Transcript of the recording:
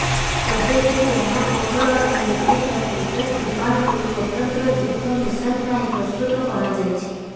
ସ୍ୱଦେଶୀ ଜ୍ଞାନକୌଶଳରେ ନିର୍ମିତ ତେଜସ୍ ବିମାନକୁ ସ୍ୱତନ୍ତ୍ର ଯୁଦ୍ଧ ମିଶନ ପାଇଁ ପ୍ରସ୍ତୁତ କରାଯାଇଛି